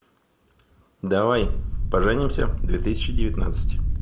давай поженимся две тысячи девятнадцать